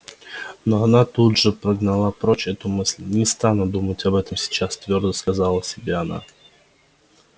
но она тут же прогнала прочь эту мысль не стану думать об этом сейчас твёрдо сказала себе она